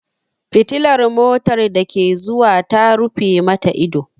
Fitilar motar da ke zuwa ta rufe mata ido.